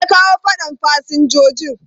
Me ya kawo fadan fasinjojin?